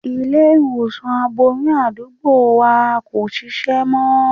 Ilé-ìwòsàn aboyún àdúgbò wa kò ṣiṣẹ́ mọ́.